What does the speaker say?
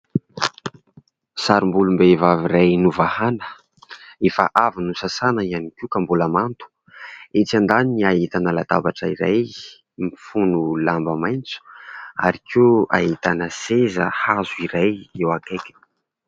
Sarim-bolom-behivavy iray novahana efa avy nosasana ihany koa ka mbola mando. Etsy andaniny ahitana latabatra iray mifono lamba maitso ary koa ahitana seza hazo iray eo akaiky.